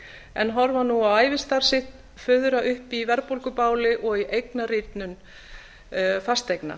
en horfa nú á ævistarf sitt fuðra upp í verðbólgubáli og í eignarýrnun fasteigna